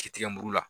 Ki tigɛ mugu la